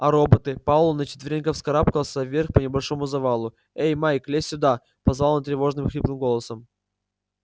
а роботы пауэлл на четвереньках вскарабкался вверх по небольшому завалу эй майк лезь сюда позвал он тревожным хриплым голосом